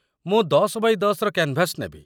ମୁଁ ୧୦ x ୧୦ ର canvas ନେବି ।